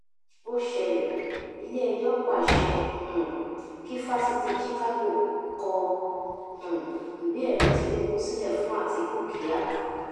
ó ṣẹlẹ iléẹjọ pàṣẹ um kí fásitì chicago kọ um ìwéẹrí tinubu sílẹ fún àtikukíà